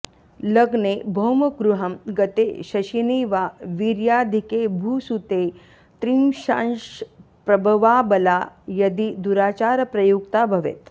लग्ने भौमगृहं गते शशिनि वा वीर्याधिके भूसुते त्रिंशांशप्रभवाऽबला यदि दुराचारप्रयुक्ता भवेत्